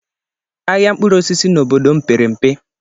Ahịa mkpụrụ osisi na obodo m pere mpe.